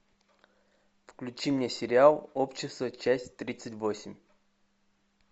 включи мне сериал общество часть тридцать восемь